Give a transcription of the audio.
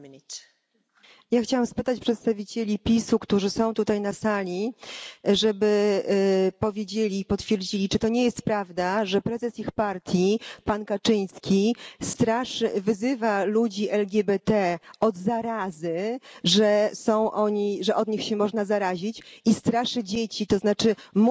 Ja chciałabym poprosić przedstawicieli PiS u, którzy są tutaj na sali, żeby powiedzieli i potwierdzili, że to nie jest prawda, że prezes ich partii pan Kaczyński wyzywa ludzi LGBT od zarazy, że od nich się można zarazić, i straszy dzieci, to znaczy mówi o tym, że